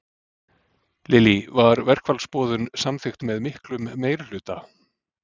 Lillý, var verkfallsboðun samþykkt með miklum meirihluta?